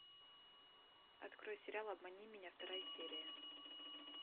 открой сериал обмани меня вторая серия